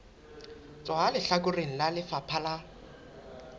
tswa lehlakoreng la lefapha la